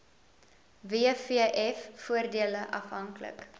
wvf voordele afhanklik